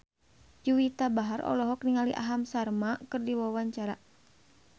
Juwita Bahar olohok ningali Aham Sharma keur diwawancara